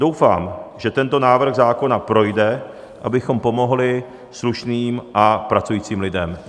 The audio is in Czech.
Doufám, že tento návrh zákona projde, abychom pomohli slušným a pracujícím lidem.